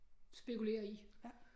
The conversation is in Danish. Spekulerer i